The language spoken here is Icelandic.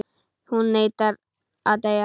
Hún neitar að deyja.